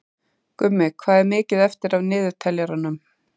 Gummi, hvað er mikið eftir af niðurteljaranum?